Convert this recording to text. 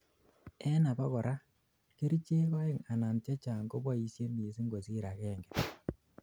en abakora, kerichek oeng anan chechang koboishe missing kosir agenge